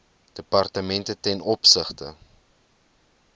departemente ten opsigte